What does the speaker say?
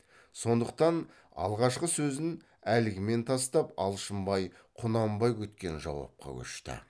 сондықтан алғашқы сөзін әлгімен тастап алшынбай құнанбай күткен жауапқа көшті